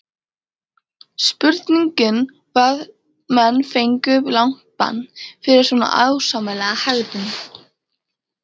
Spurning hvað menn fengju langt bann fyrir svona ósæmilega hegðun?